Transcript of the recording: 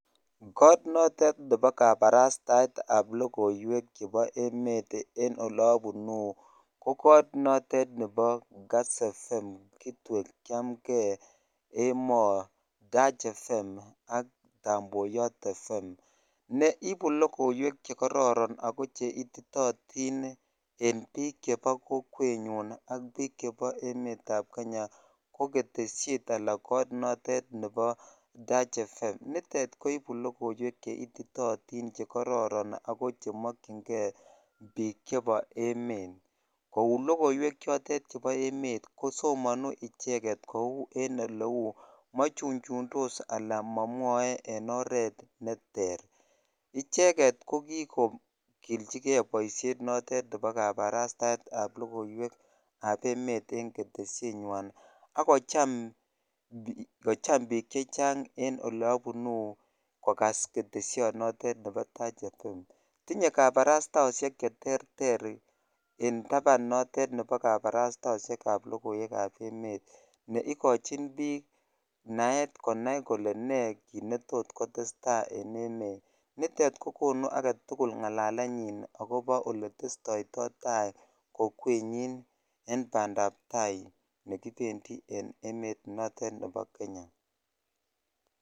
Kot notet nebo kabarastaetab lokoiwek chebo emet en oleobunu Ko kot notet nebo Kass FM, Kitwek, chamgee, Emoo, Tach FM ak Tamboyot FM ne ibu lokoiwek chekororon ako cheititotin en bik chebo kokwenyun ak bik chebo emetab Kenya ko keteshet alan kot koter nebo Tach FM nitet koibu lokoiwek cheititotin chekororon ako chemokingee bik chebo emet kou lokoiwek chotet chebo emet kosomoni icheket kou en oleu mochuchundos alan momwoe en oret neter icheket ko kikogiljigee boishet notet nebo kabarastaetab lokoiwekab emet en keteshet nywan akocham bik chechang en ole obunu kokas keteshonotet nebo Tarch FM . Tinye kabarastaoshek cheterter en taban notet nebo kabarastaoshekab lokoiwekab emet ne ikochin bik naet konai kole nee kit netot kotestai en emet. Nitet kokonu agetukul ngalalenyin akobo oletestoito tai kokwenyon en pandap tai nekipendii en emet notet nebo Kenya.